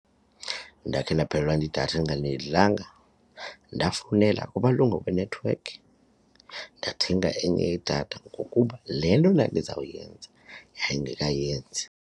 Ndakhe ndaphelelwa yidatha ndingalindelanga, ndafowunela kumalungu enethiwekhi ndathenga enye idatha ngokuba le nto ndandizawuyenza yayingekayenzi.